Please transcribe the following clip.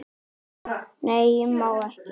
Nei, má ég!